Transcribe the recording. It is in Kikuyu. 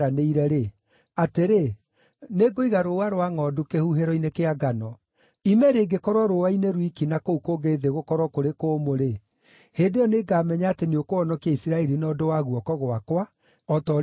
atĩrĩ, nĩngũiga rũũa rwa ngʼondu kĩhuhĩro-inĩ kĩa ngano. Ime rĩngĩkorwo rũũa-inĩ rwiki na kũu kũngĩ thĩ gũkorwo kũrĩ kũmũ-rĩ, hĩndĩ ĩyo nĩngamenya atĩ nĩũkũhonokia Isiraeli na ũndũ wa guoko gwakwa, o ta ũrĩa uugĩte.”